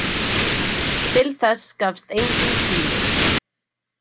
Til þess gafst enginn tími.